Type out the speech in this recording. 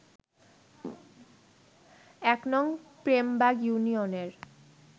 ১নং প্রেমবাগ ইউনিয়নের